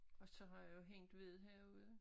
Og så har jeg jo hængt ved herude